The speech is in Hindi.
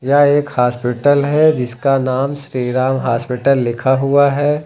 यह एक हॉस्पिटल है जिसका नाम श्री राम हॉस्पिटल लिखा हुआ है।